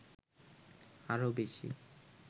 আরো বেশি